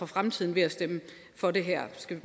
fremtiden ved at stemme for det her det skal